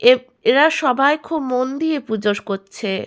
এ এরা সবাই খুব মন দিয়ে পূজো করছে।